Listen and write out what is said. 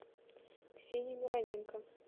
ксению мироненко